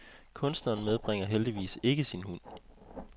Kunstneren medbringer heldigvis ikke sin hund.